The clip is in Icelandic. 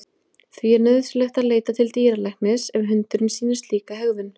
Því er nauðsynlegt að leita til dýralæknis ef hundurinn sýnir slíka hegðun.